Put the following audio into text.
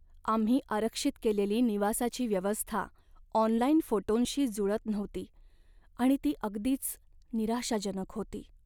आम्ही आरक्षित केलेली निवासाची व्यवस्था ऑनलाइन फोटोंशी जुळत नव्हती आणि ती अगदीच निराशाजनक होती.